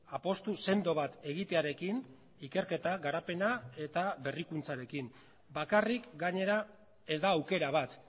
apustu sendo bat egitearekin ikerketa garapena eta berrikuntzarekin bakarrik gainera ez da aukera bat